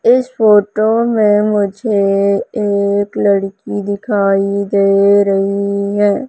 इस फोटो में मुझे एक लड़की दिखाई दे रही है।